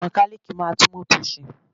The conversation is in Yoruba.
Mẹkálíìkì máà ń tún mótò ṣe.